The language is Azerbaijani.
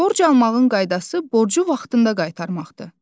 Borc almağın qaydası borcu vaxtında qaytarmaqdır.